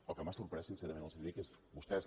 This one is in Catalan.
el que m’ha sorprès sincerament els ho dic és que vostès